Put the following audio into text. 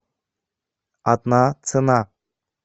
одна цена